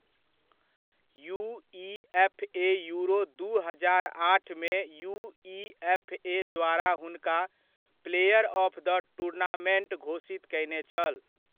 UEFA Euro दू हजार आठमे युइएफए द्वारा हुनका प्लेयर ऑफ द टुर्नामेन्ट घोषित कयने छल।